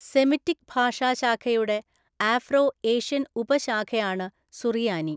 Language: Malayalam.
സെമിറ്റിക് ഭാഷാശാഖയുടെ ആഫ്രോ എഷ്യൻ ഉപശാഖയാണ് സുറിയാനി.